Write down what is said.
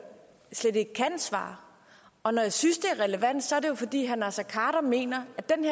slet ikke kan svare og når jeg synes det er relevant så er det jo fordi herre naser khader mener